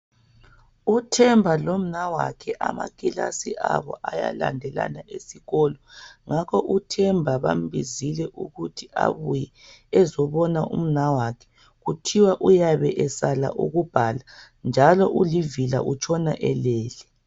U Themba lonawakhe amakilasi abo ayalandelana esikolo, ngakho uThemba bambizile ukuthi abuye azobona umnawakhe, kuthiwa uyabe esala ukubhala, njalo ulivila utshona elele.